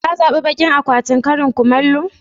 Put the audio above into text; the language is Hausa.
Ka zabi bakin akwatin karin kumallo?